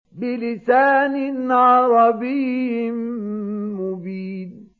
بِلِسَانٍ عَرَبِيٍّ مُّبِينٍ